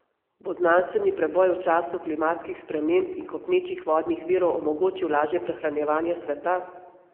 Bo znanstveni preboj v času klimatskih sprememb in kopnečih vodnih virov omogočil lažje prehranjevanje sveta?